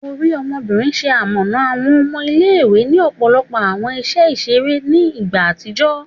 Ori Ọmọbinrin, ṣe amọna awọn ọmọ ile-iwe ni ọpọlọpọ awọn iṣẹ iṣere ni igba atijọ